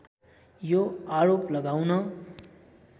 यो आरोप लगाउन